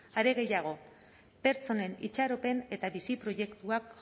are gehiago pertsonen itxaropen eta bizi proiektua